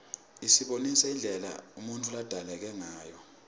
isibonisa indlela umuntfu ladalekangayo